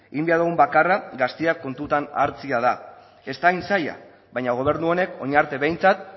egin behar dugun bakarra gazteak kontutan hartzea da ez da hain zaila baina gobernu honen orain arte behintzat